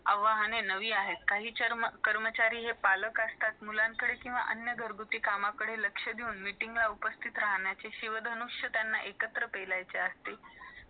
आव्हानणी नवी आहेत काही कर्मचारी पालक असतात मुलांकडे किवा घर गृहती कामाकडे लक्ष देऊन meeting उपस्थितीत राहण्याची शिव धनुष त्यानलं एकत्र पेलायची असतात